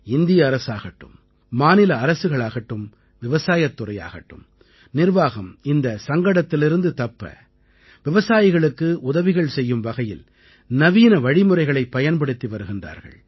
இந்திய அரசாகட்டும் மாநில அரசுகளாகட்டும் விவசாயத் துறையாகட்டும் நிர்வாகம் இந்தச் சங்கடத்திலிருந்து தப்ப விவசாயிகளுக்கு உதவிகள் செய்யும் வகையில் நவீன வழிமுறைகளைப் பயன்படுத்தி வருகின்றார்கள்